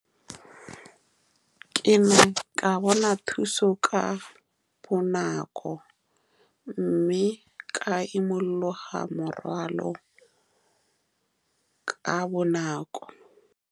Ke ne ka bona thuso ka bonako, mme ka imologa morwalo ka bonako.